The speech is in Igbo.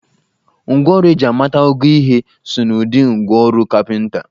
Ngwa ọrụ eji ịmata ogo ihe so n'ụdị ngwa ọrọ kapịnta